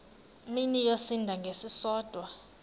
mini yosinda ngesisodwa